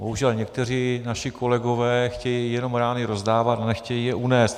Bohužel někteří naši kolegové chtějí rány jenom rozdávat a nechtějí je unést.